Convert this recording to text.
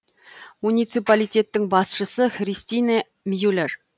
муниципалитеттің басшысы христине мюллер